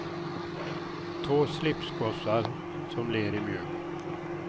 Två slipsgossar som ler i mjugg.